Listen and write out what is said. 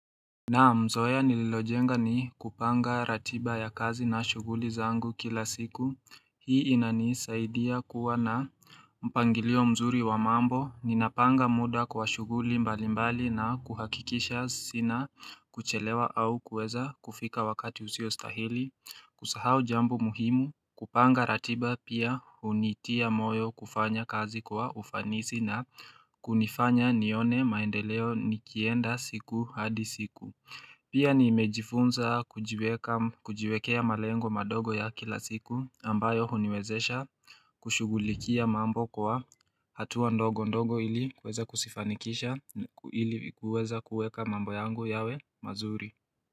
Naam zoya nililojenga ni kupanga ratiba ya kazi na shuguli zangu kila siku, hii inani saidia kuwa na mpangilio mzuri wa mambo, ninapanga muda kwa shuguli mbalimbali na kuhakikisha sina kuchelewa au kueza kufika wakati usio stahili, kusahau jambo muhimu, kupanga ratiba pia unitia moyo kufanya kazi kwa ufanisi na kunifanya nione maendeleo nikienda siku hadi siku Pia niimejifunza kujiwekea malengo madogo ya kila siku ambayo huniwezesha kushugulikia mambo kwa hatuwa ndogo ndogo ili kuweza kusifanikisha ili kuweza kuweka mambo yango yawe mazuri.